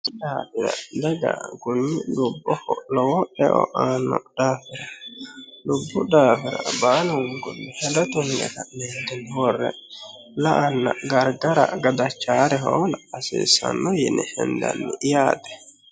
la'ana Dagga kunni dubboho lowo eo aano daafira Dubbu daafira baalunikuni hedo tunige kae'enitini wore la'ana garigara gadachanore hoola hasisanno yine henidanni yaatte